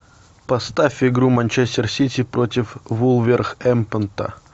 поставь игру манчестер сити против вулверхэмптона